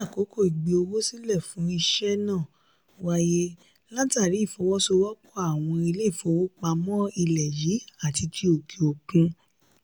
ní àkọ́kọ́ ìgbé owó sílè fún ìṣe náà wáyé látàrí ìfọwọ́sowọ́pọ́ àwọn ilé ìfowópamọ́ ilẹ̀ yìí àti ti òkè òkun.